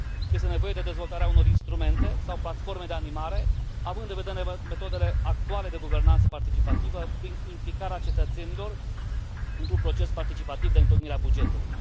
Este nevoie de dezvoltarea unor instrumente sau platforme de animare, având în vedere metodele actuale de guvernanță participativă, prin implicarea cetățenilor într un proces participativ de întocmire a bugetului.